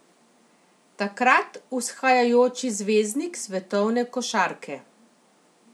Takrat vzhajajoči zvezdnik svetovne košarke.